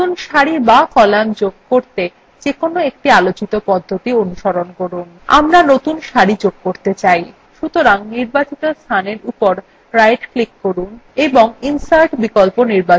নতুন সারি বা কলাম যোগ করতে যেকোনো একটি আলোচিত পদ্ধতি অনুসরণ করুন আমরা নতুন সারি যোগ করতে চাই সুতরাং নির্বাচনএর উপর right ডান click করুন এবং insert বিকল্প নির্বাচন করুন